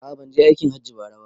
A'a banje aikin hajji bara ba